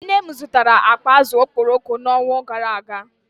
Nne m zụtara akpa azụ̀ okporoko n’ọnwa gara aga